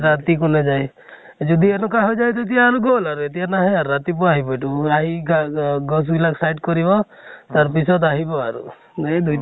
ৰাতি যায় । যদি এনেকুৱা হৈ যায় তেতিয়া আৰু গল আৰু । এতিয়া নাহে আৰু, ৰাতিপুৱা আহিব গছ বিলাক side কৰিব। তাৰ পিছত আহব আৰু। এনেই দুই